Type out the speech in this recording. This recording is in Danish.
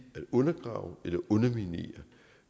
at undergrave eller underminere